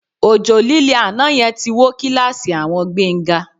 Òjò lílé àná yẹn ti wó kíláàsì àwọn Gbénga